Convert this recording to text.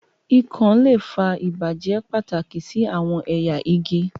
ikon le fa ibajẹ pataki si awọn ẹya igi.